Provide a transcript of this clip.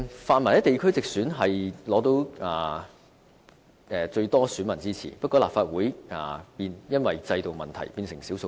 泛民在地區直選得到最多選民的支持，不過因為制度問題，在立法會變成少數派。